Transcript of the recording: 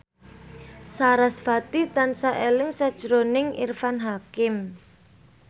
sarasvati tansah eling sakjroning Irfan Hakim